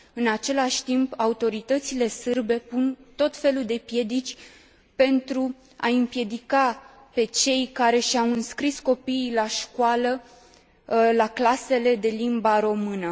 În același timp, autoritățile sârbe pun tot felul de piedici pentru a i împiedica pe cei care și au înscris copiii la școală la clasele de limba română.